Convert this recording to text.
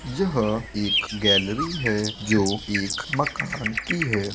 यह एक गैलरी है जो एक मकान की है।